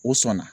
O sɔn na